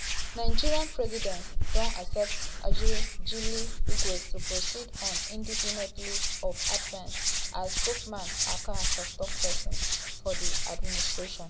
nigerian presidency don accept ajuri ngelale request to proceed on indefinite leave of absence as spokesman aka tok-tok pesin for di administration.